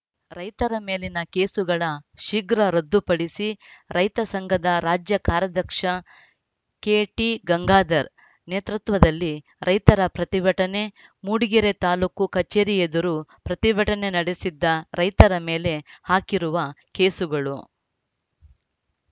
ರೈತರ ಮೇಲಿನ ಕೇಸುಗಳ ಶೀಘ್ರ ರದ್ದುಪಡಿಸಿ ರೈತ ಸಂಘದ ರಾಜ್ಯ ಕಾರ್ಯಾಧ್ಯಕ್ಷ ಕೆಟಿ ಗಂಗಾಧರ್‌ ನೇತೃತ್ವದಲ್ಲಿ ರೈತರ ಪ್ರತಿಭಟನೆ ಮೂಡಿಗೆರೆ ತಾಲೂಕು ಕಚೇರಿ ಎದುರು ಪ್ರತಿಭಟನೆ ನಡೆಸಿದ್ದ ರೈತರ ಮೇಲೆ ಹಾಕಿರುವ ಕೇಸುಗಳು